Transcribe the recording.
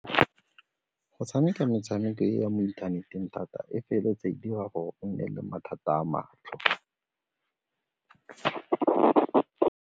Go tshameka metshameko e ya mo inthaneteng thata e feleletse e dira gore o nne le mathata a matlho.